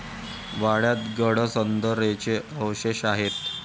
वाड्यात गडसदरेंचे अवशेष आहेत.